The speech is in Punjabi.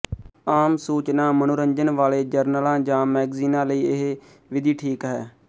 ਆਮ ਸੂਚਨਾ ਮਨੋਰੰਜਨ ਵਾਲੇ ਜਰਨਲਾਂ ਜਾਂ ਮੈਗਜੀਨਾਂ ਲਈ ਇਹ ਵਿਧੀ ਠੀਕ ਹੈ